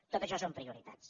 tots això són prioritats